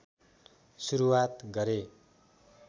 सुरुवात गरे